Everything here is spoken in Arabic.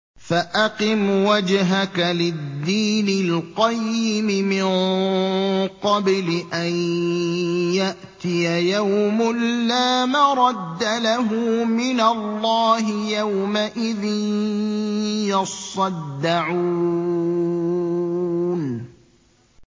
فَأَقِمْ وَجْهَكَ لِلدِّينِ الْقَيِّمِ مِن قَبْلِ أَن يَأْتِيَ يَوْمٌ لَّا مَرَدَّ لَهُ مِنَ اللَّهِ ۖ يَوْمَئِذٍ يَصَّدَّعُونَ